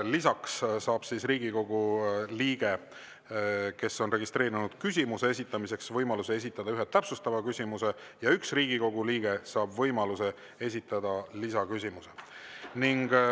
Lisaks saab Riigikogu liige, kes on registreerunud küsimuse esitamiseks, võimaluse esitada ühe täpsustava küsimuse ja üks Riigikogu liige saab võimaluse esitada lisaküsimuse.